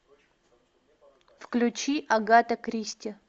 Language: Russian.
включи агата кристи